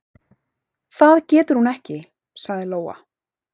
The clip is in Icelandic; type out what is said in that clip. """Það getur hún ekki, sagði Lóa."""